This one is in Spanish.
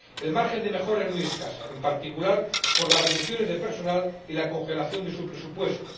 El margen de mejora es muy escaso, en particular por las reducciones de personal y la congelación de su presupuesto.